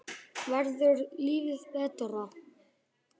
Verður lífið betra?